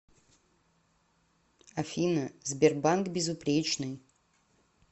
афина сбербанк безупречный